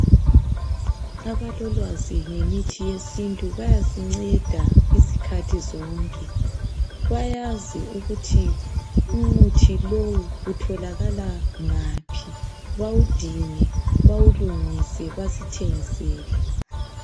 Abalolwazi ngemithi yesintu bayasinceda izikhathi zonke, bayazi ukuthi umuthi lowu uthokala ngaphi bawudinge ,bawulungise basithengisele .